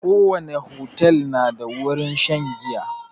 Ko wani otel na da wurin shan giya